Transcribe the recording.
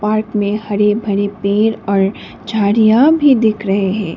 Park में हरे भरे पेड़ और झाड़ियां भी दिख रहे है।